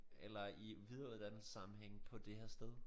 Eller i videreuddannelsessammenhænge på det her sted